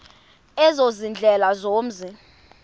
ezo ziindlela zomzi